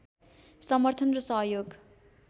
समर्थन र सहयोग